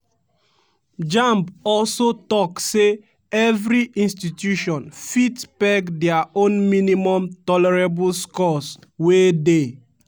jamb also tok say evri institution fit peg dia own minimum tolerable scores wey dey